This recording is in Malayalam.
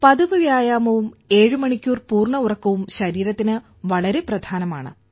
പതിവ് വ്യായാമവും 7 മണിക്കൂർ പൂർണ്ണ ഉറക്കവും ശരീരത്തിന് വളരെ പ്രധാനമാണ്